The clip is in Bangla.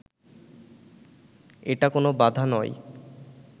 এটা কোনো বাধা নয়